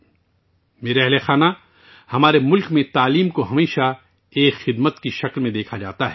میرے پیارے اہلِ خانہ، ہمارے ملک میں تعلیم کو ہمیشہ ایک خدمت کے طور پر دیکھا جاتا ہے